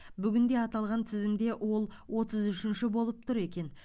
бүгінде аталған тізімде ол отыз үшінші болып тұр екен